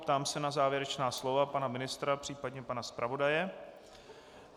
Ptám se na závěrečná slova pana ministra případně pana zpravodaje.